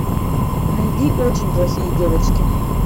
найди очень плохие девочки